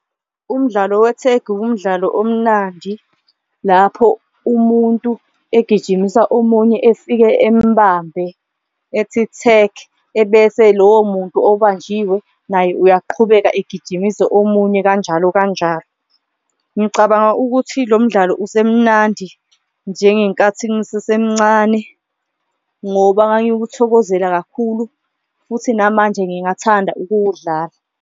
Umdlalo wethegi umdlalo omnandi lapho umuntu egijimisa omunye efike embambe ethi tag, ebese lowo muntu obanjiwe naye uyaqhubeka egijimise omunye kanjalo kanjalo, ngicabanga ukuthi lo mdlalo usemnandi njengenkathi ngisesemncane. Ngoba ngangikuthokozela kakhulu futhi namanje ngingathanda ukuwudlala.